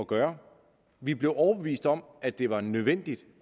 gøre vi blev overbevist om at det var nødvendigt